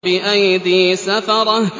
بِأَيْدِي سَفَرَةٍ